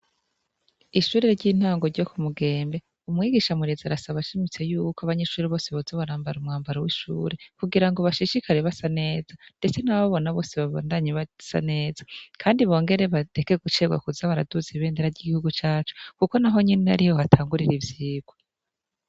Ishure ry'intango ryo ku Mugembe, umwigisha murezi arasaba ashimitse y'uko abanyeshure bose boza barambara umwambaro w'ishure, kugira ngo bashishikare base neza, ndetse n'abababona bose babandanye basa neza. Kandi bongere bareke kuza baracererwa baraduza ibendera ry'igihugu cacu kuko naho nyene ariho hatangurira ivyigwa.